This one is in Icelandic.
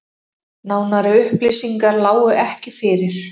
Nánari upplýsingar lágu ekki fyrir